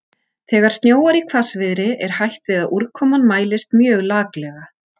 Þegar snjóar í hvassviðri er hætt við að úrkoman mælist mjög laklega.